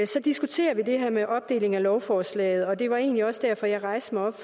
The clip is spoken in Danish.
så diskuterer vi det her med opdeling af lovforslaget og det var egentlig også derfor jeg rejste mig op